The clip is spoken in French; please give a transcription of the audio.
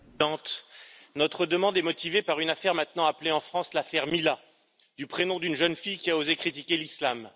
Madame la Présidente, notre demande est motivée par une affaire maintenant appelée en France l'affaire Mila, du prénom d'une jeune fille qui a osé critiquer l'islam.